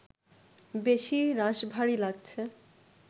বেশি রাশভারী লাগছে